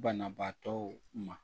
Banabaatɔw ma